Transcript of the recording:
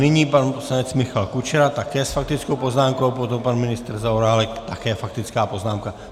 Nyní pan poslanec Michal Kučera také s faktickou poznámkou, potom pan ministr Zaorálek, také faktická poznámka.